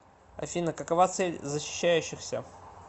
афина какова цель защищающихся